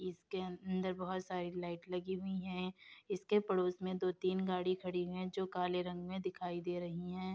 इसके अंदर बहोत सारी लाइट लगी हुई हैं। इसके पड़ोस में दो-तीन गाड़ी खड़ी हैं जो काले रंग में दिखाई दे रही हैं।